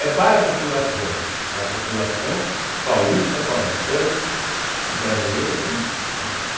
É para a população, para a população paulista, paulistana, brasileira e, né.